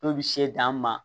Dɔw bi se dan ma